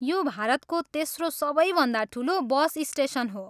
यो भारतको तेस्रो सबैभन्दा ठुलो बस स्टेसन हो।